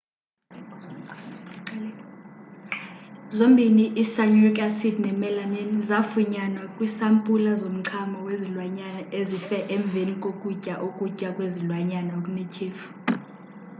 zombini i-cyanuric acid nemelamine zafunyanwa kwisampula zomchamo wezilwanyana ezife emveni kokutya ukutya kwezilwanyana okunethyefu